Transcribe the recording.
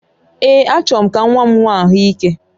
Ee, achọrọ m ka nwa m nwee ahụ ike